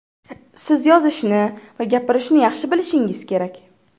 Siz yozishni va gapirishni yaxshi bilishingiz kerak.